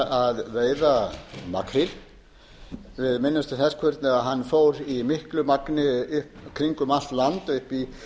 að veiða makríl minnumst þess hvernig hann fór í miklu magni kringum allt land upp